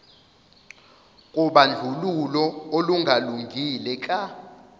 kobandlululo olungalungile ka